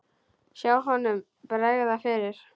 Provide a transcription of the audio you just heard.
Sjá honum bregða fyrir!